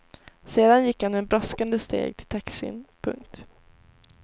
Sen gick han med brådskande steg till taxin. punkt